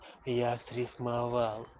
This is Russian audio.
я срифмовал